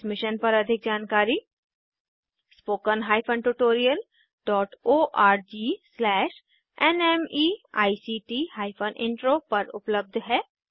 इस मिशन पर अधिक जानकारी spoken hyphen tutorial dot org slash NMEICT hyphen intro पर उपलब्ध है